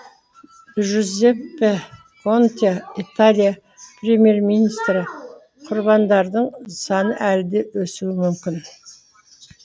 джузеппе конте италия премьер министрі құрбандардың саны әлі де өсуі мүмкін